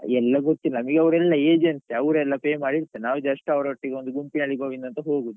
ಎಲ್ಲ ಗೊತ್ತಿಲ್ಲ ನಮಿಗೆ ಅವ್ರು ಎಲ್ಲಾ agent ಅವ್ರೆ ಎಲ್ಲ pay ಮಾಡಿ ಇರ್ತಾರೆ ನಾವ್ just ಅವರೊಟ್ಟಿಗೆ ಒಂದು ಗುಂಪಿನಲ್ಲಿ ಗೋವಿಂದ ಅಂತ ಹೋಗುದು.